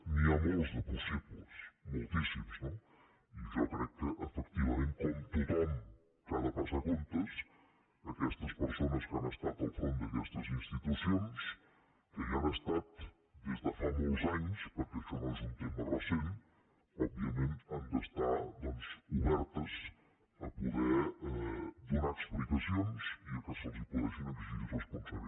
n’hi ha molts de possibles moltíssims no i jo crec que efectivament com tothom que ha de passar comptes aquestes persones que han estat al capdavant d’aques·tes institucions que hi han estat des de fa molts anys perquè això no és un tema recent òbviament han d’estar doncs obertes a poder donar explicacions i que se’ls puguin exigir responsabilitats